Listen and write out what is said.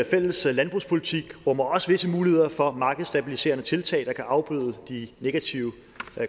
fælles landbrugspolitik rummer også visse muligheder for markedsstabiliserende tiltag der kan afbøde de negative